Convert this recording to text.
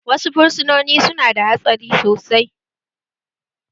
Wasu fursunoni su na da hatsari sosai